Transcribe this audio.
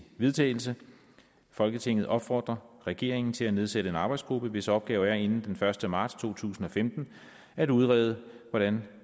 vedtagelse folketinget opfordrer regeringen til at nedsætte en arbejdsgruppe hvis opgave er inden første marts to tusind og femten at udrede hvordan